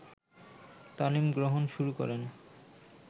তালিম গ্রহণ শুরু করেন